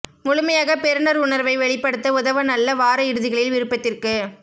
முழுமையாக பெறுநர் உணர்வை வெளிப்படுத்த உதவ நல்ல வார இறுதிகளில் விருப்பத்திற்கு